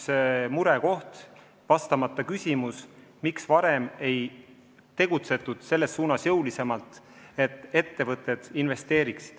See on üks murekoht ja vastamata on küsimus, miks varem ei tegutsetud selles suunas jõulisemalt, et motiveerida ettevõtteid investeerima.